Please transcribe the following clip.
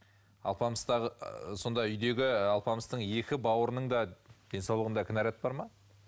алпамыстағы сонда үйдегі алпамыстың екі бауырының да денсаулығында кінәрат бар ма